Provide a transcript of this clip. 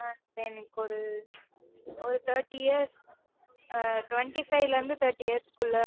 ஆஹ் எனக்கு ஒரு ஒரு thirty years ஆ twenty-five ல இருந்து thirty years க்குள்ள